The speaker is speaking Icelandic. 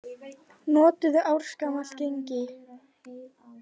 Notuðu ársgamalt gengi